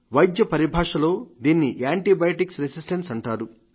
వైద్య పరిభాషలో దీన్ని యాంటీబయాటిక్ రెసిస్టెన్స్ అంటారు